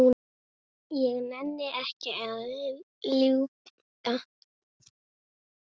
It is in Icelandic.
Ég nenni ekki að ljúga.